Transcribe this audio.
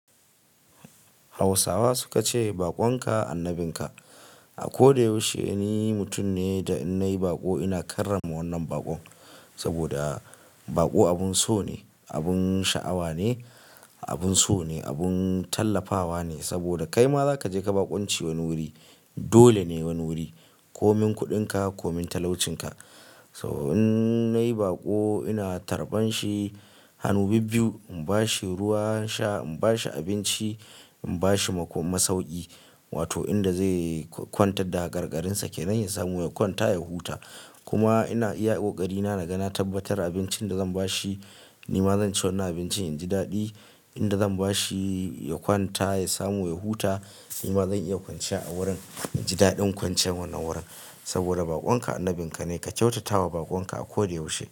Hausawa suka ce bakon ka annabin ka. A ko da yaushe ni mutum ne da in na yi baƙo ina karrama wannan bakon. Saboda baƙo abun so ne, abun sha'awa ne, abun so ne, abun tallafawa ne. Saboda kai ma za ka je ka bakonci wani wuri. Dole ne wani wuri, ko min kuɗin ka ko min talaucin ka. To in na yi baƙo ina tarban shi, hannu bibbiyu, in bashi ruwa sha, in bashi abinci, in bashi mako masauki. Wato in da zai kwantar da hakarkarinsa kenan ya samu ya kwanta ya huta. Kuma ina iya kokarina naga na tabbatar abincin da zan ba shi, ni ma zan ci wannan abincin in ji daɗi. In da zan ba shi ya kwanta, ya samu ya huta, ni ma zan iya kwanciya a wurin, in ji daɗin kwanciyan wannan wurin. Saboda bakon ka annabin ka ne ka kyautata wa bakon ka a ko da yaushe.